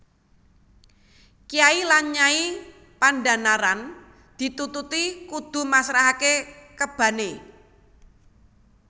Kyai lan Nyai Pandhanaran ditututi kudu masrahake kebane